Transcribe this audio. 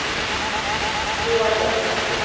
Johan Jönsson